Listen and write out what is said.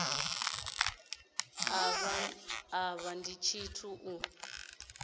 a vha ḽi tshithu u